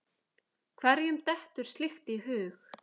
Hverjum dettur slíkt í hug?